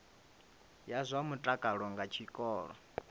ya zwa mutakalo nga tshikolo